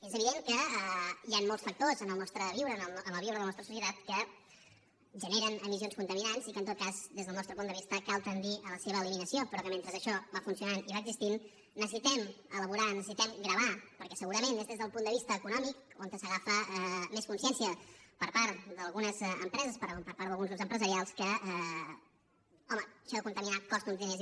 és evident que hi han molts factors en el nostre viure en el viure de la nostra societat que generen emissions contaminants i que en tot cas des del nostre punt de vista cal tendir a la seva eliminació però que mentre això va funcionant i va existint necessitem elaborar necessitem gravar perquè segurament és des del punt de vista econòmic on s’agafa més consciència per part d’algunes empreses per part d’alguns grups empresarials que home això de contaminar costa uns diners